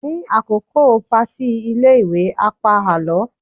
ní àkókò party ilé ìwé, a o pa àlọ